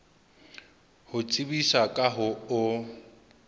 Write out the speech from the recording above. ho tsebisa ka ho o